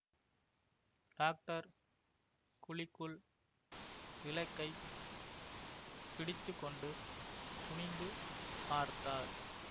doctor குழிக்குள் விளக்கைப் பிடித்து கொண்டு குனிந்து பார்த்தார்